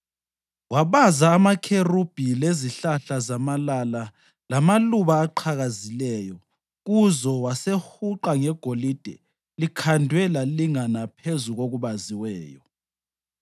Wabaza amakherubhi lezihlahla zamalala lamaluba aqhakazileyo kuzo wasewahuqa ngegolide likhandwe lalingana phezu kokubaziweyo.